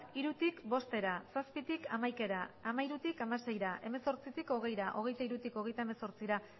hirutik bostera zazpitik hamaikara hamairutik hamaseira hemezortzitik hogeira hogeita hirutik hogeita hemezortzira